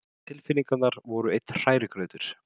Tilfinningarnar voru einn hrærigrautur.